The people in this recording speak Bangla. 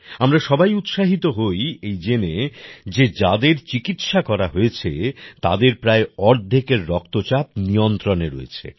আমরা সবাই উৎসাহিত হই জেনে যে যাদের চিকিৎসা করা হয়েছে তাদের প্রায় অর্ধেকের রক্তচাপ নিয়ন্ত্রণে রয়েছে